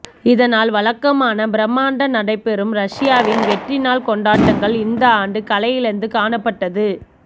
இதனால் வழக்கமான பிரமாண்ட நடைபெறும் ரஷ்யாவின் வெற்றி நாள் கொண்டாட்டங்கள் இந்த ஆண்டு கலையிழந்து காணப்பட்டது